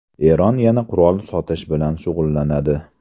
Eron yana qurol sotish bilan shug‘ullanadi.